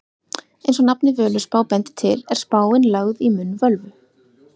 Eins og nafnið Völuspá bendir til er spáin lögð í munn völvu.